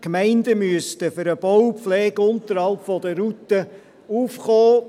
Die Gemeinden müssten für den Bau, die Pflege und den Unterhalt der Routen aufkommen.